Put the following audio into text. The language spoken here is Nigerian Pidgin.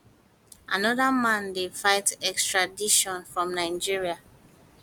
anoda man dey fight extradition from nigeria